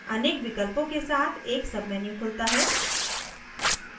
अनेक विकल्पों के साथ एक submenu खुलता है